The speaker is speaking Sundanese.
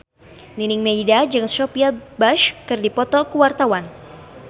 Nining Meida jeung Sophia Bush keur dipoto ku wartawan